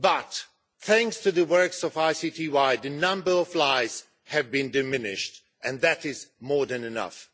But thanks to the works of ICTY, the number lies have been diminished, and that is more than enough.